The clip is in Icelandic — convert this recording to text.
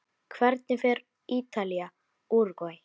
Hvernig fer Ítalía- Úrúgvæ?